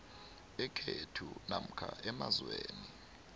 ekhethu namkha emazweni